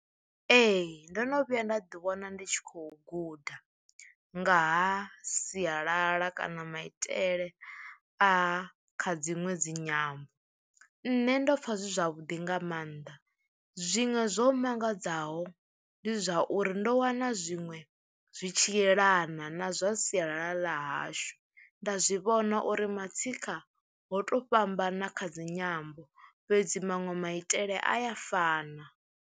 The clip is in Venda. Ee ndo no vhuya nda ḓi wana ndi tshi khou guda nga ha sialala kana maitele a kha dziṅwe dzinyambo. Nṋe ndo pfha zwi zwavhuḓi nga maanḓa zwinwe zwo mangadzaho ndi zwauri ndo wana zwiṅwe zwi tshi yelana na zwa sialala ḽa hashu, nda zwi vhona uri matsikha ho to fhambana kha dzinyambo fhedzi manwe maitele a ya fana.